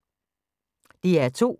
DR2